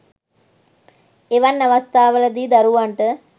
එවන් අවස්ථාවල දී දරුවන්ට